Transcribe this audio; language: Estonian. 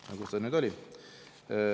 No kus ta nüüd oli?